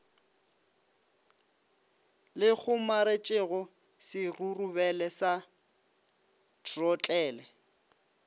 le kgomaretšego serurubele sa throtlele